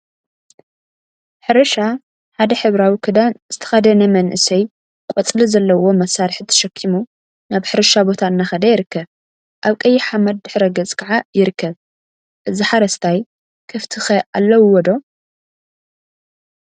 ሕርሻ ሓደ ሕብራዊ ክዳን ዝተከደነ መንእሰይ ቆፅሊ ዘለዎ መሳርሕ ተሸኪሙ ናብ ሕርሻ ቦታ እናኸደ ይርከብ፡፡ አብ ቀይሕ ሓመድ ድሕረ ገፅ ከዓ ይርከብ፡፡ እዚ ሓረስታይ ከፍቲ ኸ አለውዎ ዶ?